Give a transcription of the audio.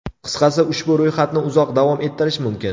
Qisqasi ushbu ro‘yxatni uzoq davom ettirish mumkin.